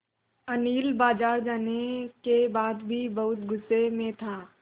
अनिल बाज़ार जाने के बाद भी बहुत गु़स्से में था